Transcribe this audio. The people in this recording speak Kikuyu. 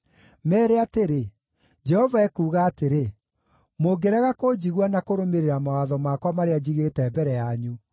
Meere atĩrĩ, ‘Jehova ekuuga atĩrĩ: Mũngĩrega kũnjigua na kũrũmĩrĩra mawatho makwa marĩa njigĩte mbere yanyu,